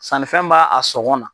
Sannifɛn m'a a sɔgɔn na.